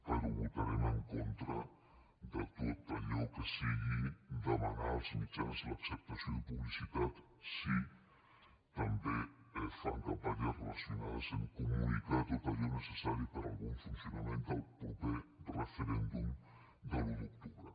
però votarem en contra de tot allò que sigui demanar als mitjans l’acceptació de publicitat si també fan campanyes relacionades amb comunicar tot allò necessari per al bon funcionament del proper referèndum de l’un d’octubre